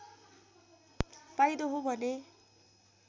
पाइँदो हो भने